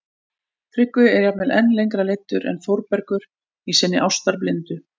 Tryggvi er jafnvel enn lengra leiddur en Þórbergur í sinni ástarblindu